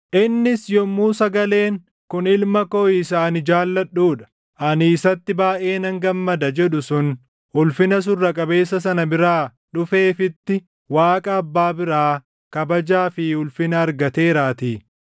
Innis yommuu sagaleen, “Kun Ilma koo isa ani jaalladhuu dha; ani isatti baayʼee nan gammada” + 1:17 \+xt Mat 17:5; Mar 9:7; Luq 9:35\+xt* jedhu sun Ulfina Surra qabeessa sana biraa dhufeefitti, Waaqa Abbaa biraa kabajaa fi ulfina argateeraatii.